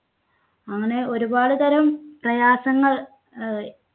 അങ്ങനെ ഒരുപാട് തരം പ്രയാസങ്ങൾ ഹ്~